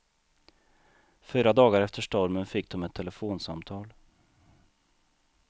Fyra dagar efter stormen fick de ett telefonsamtal.